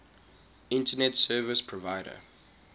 internet service provider